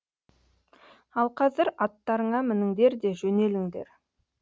ал қазір аттарыңа мініңдер де жөнеліңдер